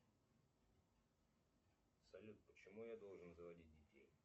салют почему я должен заводить детей